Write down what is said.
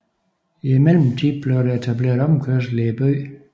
I mellemtiden blev der etableret omkørsel i byen